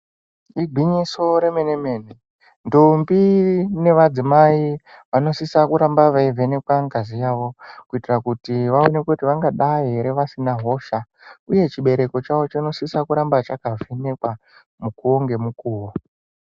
Igwinyiso remene mene, ndombi nevadzimai vanosisa kuramba veivhenekwa ngazi yavo kuitira kuti vaonekwe kuti vangadai here vasina hosha, uye chibereko chavo chinosisa kuramba chakavhenekwa mukuwo ngemukuwo.